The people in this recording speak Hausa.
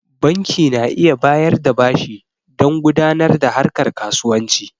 Banki na iya bayar da bashi dan gudanar da harkar kasuwanci